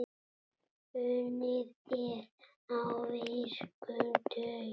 Unnið er á virkum dögum.